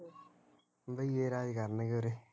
ਬਈਏ ਰਾਜ ਕਰਨਗੇ ਉਰੇ